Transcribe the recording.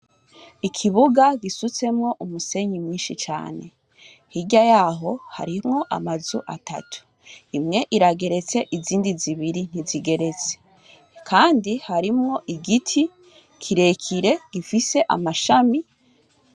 Ikibuga gisutsemwo umusenyi mwinshi cane, hirya yaho harimwo amazu atatu, imwe irageretse izindi zibiri ntizigeretse, kandi harimwo igiti kire kire gifise amashami.